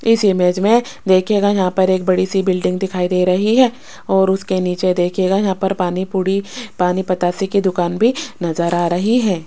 इस इमेज में देखिएगा यहां पर एक बड़ी सी बिल्डिंग दिखाई दे रही है और उसके नीचे देखिएगा यहां पर पानी पुरी पानी पतासे की दुकान भी नजर आ रही है।